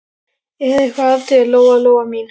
Er eitthvað að þér, Lóa Lóa mín?